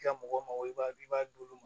I ka mɔgɔ i b'a i b'a d'olu ma